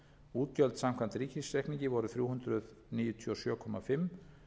útgjöld samkvæmt ríkisreikningi voru þrjú hundruð níutíu og sjö komma fimm